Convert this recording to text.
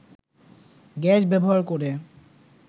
gas ব্যবহার করে